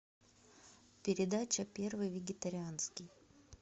передача первый вегетарианский